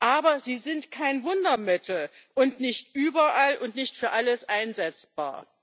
Aber sie sind kein Wundermittel und nicht überall und nicht für alles einsetzbar.